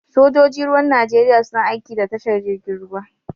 Sojoji Ruwan Najeriya suna aiki da tashar jirgin ruwa.